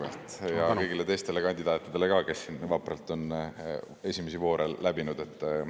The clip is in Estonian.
Ja kõigile teistele kandidaatidele ka, kes siin on vapralt esimesi voore läbinud.